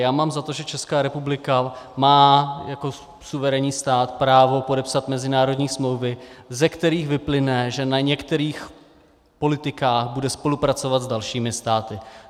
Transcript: Já mám za to, že Česká republika má jako suverénní stát právo podepsat mezinárodní smlouvy, ze kterých vyplyne, že na některých politikách bude spolupracovat s dalšími státy.